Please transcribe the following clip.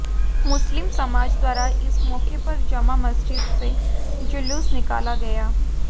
मुस्लिम समाज द्वारा इस मौके पर जामा मस्जिद से जुलूस निकाला गया